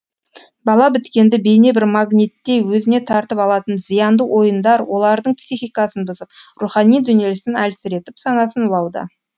бала біткенді бейне бір магниттей өзіне тартып алатын зиянды ойындар олардың психикасын бұзып рухани дүниесін әлсіретіп санасын улауда